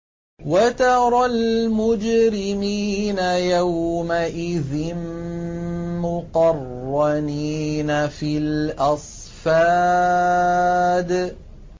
وَتَرَى الْمُجْرِمِينَ يَوْمَئِذٍ مُّقَرَّنِينَ فِي الْأَصْفَادِ